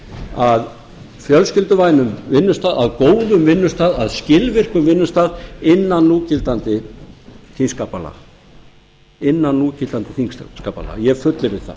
að fjölskylduvænum vinnustað að góðum vinnustað að skilvirkum vinnustað innan núgildandi þingskapalaga ég fullyrði það